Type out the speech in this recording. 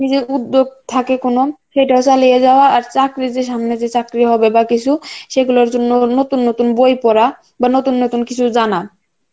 নিজের উদ্যোগ থাকে কোন সেটাও চালিয়ে যাওয়া আর চাকরিদের সামনে চাকরির হবে বা কিছু সেগুলোর জন্য নতুন নতুন বই পড়া বা নতুন নতুন কিছু জানা